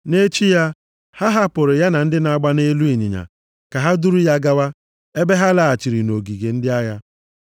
Nʼechi ya, ha hapụrụ ya na ndị na-agba nʼelu ịnyịnya ka ha duru ya gawa, ebe ha laghachiri nʼogige ndị agha.